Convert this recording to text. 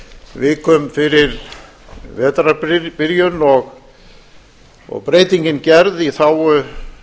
vikum fyrir vetrarbyrjun og breytingin gerð í þágu